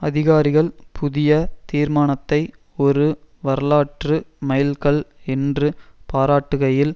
அதிகாரிகள் புதிய தீர்மானத்தை ஒரு வரலாற்று மைல்கல் என்று பாராட்டுகையில்